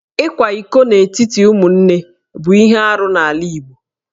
Ịkwa iko n'etiti ụmụnne bụ ihe arụ n'ala Igbo